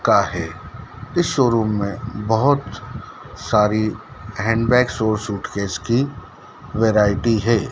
का है इस शोरूम में बहोत सारी हैंडबैग्स और सूटकेस की वैरायटी है।